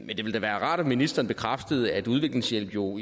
men det ville da være rart om ministeren bekræftede at udviklingshjælp jo